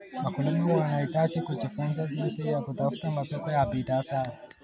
Wakulima wanahitaji kujifunza jinsi ya kutafuta masoko ya bidhaa zao.